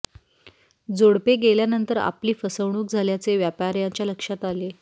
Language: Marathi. जोडपे गेल्यानंतर आपली फसवणूक झाल्याचे व्यापार्याच्या लक्षात आले